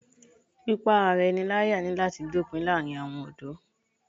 Pípá ara ẹni láyà ní láti dópin láàárín àwọn ọ̀dọ́